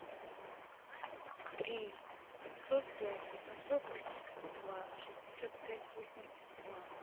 три семьсот пять восемьсот восемьдесят два шестьдесят пять восемьдесят два